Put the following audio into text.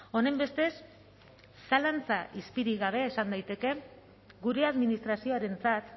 honenbestez zalantza izpirik gabe esan daiteke gure administrazioarentzat